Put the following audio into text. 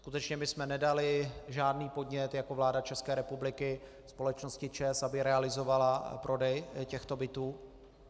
Skutečně my jsme nedali žádný podnět jako vláda České republiky společnosti ČEZ, aby realizovala prodej těchto bytů.